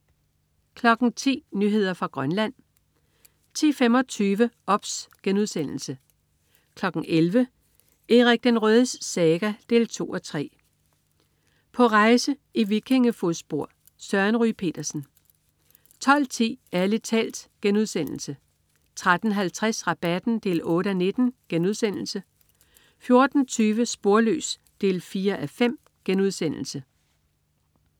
10.00 Nyheder fra Grønland 10.25 OBS* 11.00 Erik den Rødes saga 2:3. På rejse i vikingefodspor. Søren Ryge Petersen 12.10 Ærlig talt* 13.50 Rabatten 8:19* 14.20 Sporløs 4:5*